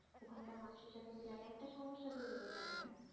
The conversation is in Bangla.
ওখানকার মানুষের সাথে মিলাটা একটা সমস্যা তৈরি হয়ে যাবে গা